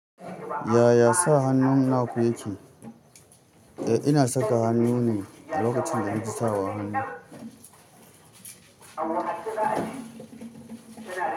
Yaya sa hannu naku yake? Eh ina saka hannu ne lokacin da naji sawa hannu.